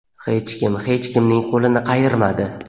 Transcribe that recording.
Hech kim hech kimning qo‘lini qayirmadi.